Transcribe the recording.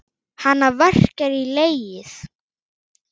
Hana verkjar í legið.